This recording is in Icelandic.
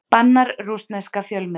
Bannar rússneska fjölmiðla